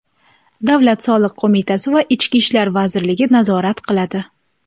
Davlat soliq qo‘mitasi va Ichki ishlar vazirligi nazorat qiladi.